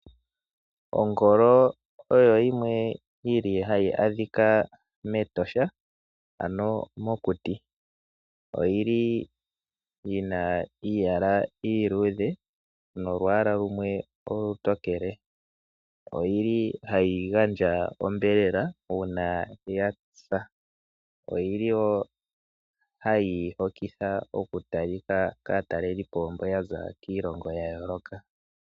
Ongolo oyo yimwe yili hayi adhika mEtosha ano mokuti. Oyili yina iiyala iiluudhe nolwaala lumwe olutokele. Oyili hayi gandja onyama una yasa. Oyili wo hayi hokitha oku talitha kaatalelipo mbo yaza kiilongo yayoloka.